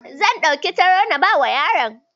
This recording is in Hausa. Zan ɗauki taro na bawa yaron.